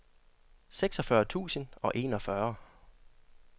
seksogfyrre tusind og enogfyrre